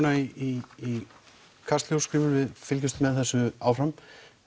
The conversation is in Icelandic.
í Kastljós við fylgjumst með þessu áfram